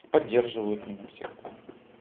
поддерживают меня всегда